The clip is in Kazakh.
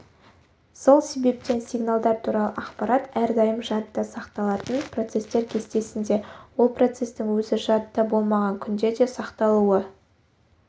сол себептен сигналдар туралы ақпарат әрдайым жадыда сақталатын процестер кестесінде ол процестің өзі жадыда болмаған күнде де сақталуы